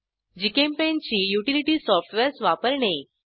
GChemPaint ची utility softwares वापरणे